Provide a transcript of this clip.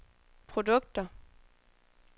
produkter